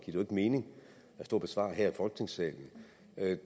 jo ikke mening at stå og besvare her i folketingssalen